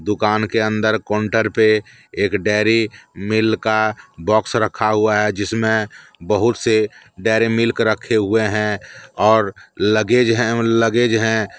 दुकान के अंदर काउंटर पे एक डेरी मिल्क का बॉक्स रखा हुआ है जिसमें बहुत से डेरी मिल्क रखे हैं और लगेज हैं लगेज हैं ।